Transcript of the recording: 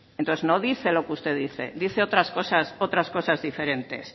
no dice lo que usted dice dice otras cosas diferentes